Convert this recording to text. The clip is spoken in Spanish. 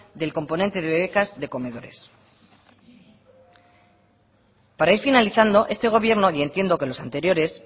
del componente de becas de comedores para ir finalizando este gobierno y entiendo que los anteriores